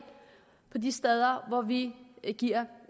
de steder vi giver